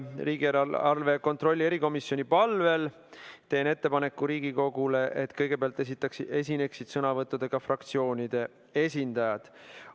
Riigieelarve kontrolli erikomisjoni palvel teen Riigikogule ettepaneku, et kõigepealt esineksid sõnavõttudega fraktsioonide esindajad.